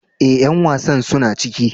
Eh, yan wasan suna cike.